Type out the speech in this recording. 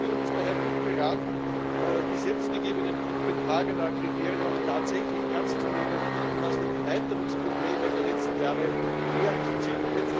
Die Union ist daher gut beraten, die selbst gegebenen Kopenhagener Kriterien auch tatsächlich ernst zu nehmen und aus den Erweiterungsproblemen der letzten Jahre die Lehren zu ziehen.